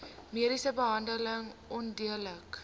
mediese behandeling onredelik